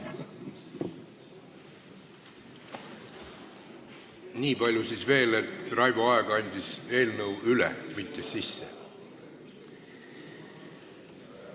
Nii palju veel, et Raivo Aeg andis eelnõu üle, mitte sisse.